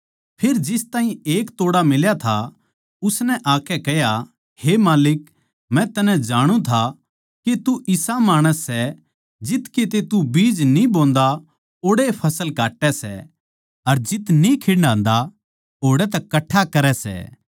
फेर जिस ताहीं एक तोड़ा मिल्या उसनै आकै कह्या हे माल्लिक मै तन्नै जाणु था के तू इसे माणस की तरियां सै तू जित किते बीज न्ही बोन्दा ओड़ै फसल काट्टै सै अर जित न्ही खिंडान्दा ओड़ै तै कट्ठा करै सै